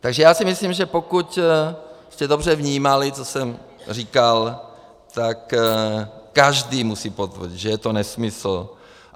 Takže já si myslím, že pokud jste dobře vnímali, co jsem říkal, tak každý musí potvrdit, že je to nesmysl.